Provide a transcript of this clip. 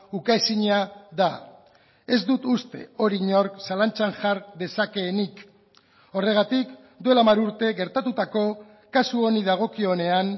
ukaezina da ez dut uste hori inork zalantzan jar dezakeenik horregatik duela hamar urte gertatutako kasu honi dagokionean